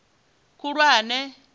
khulwane